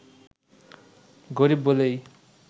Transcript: গরিব বলেই